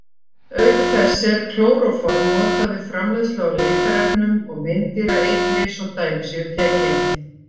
Auk þess er klóróform notað við framleiðslu á litarefnum og meindýraeitri svo dæmi séu tekin.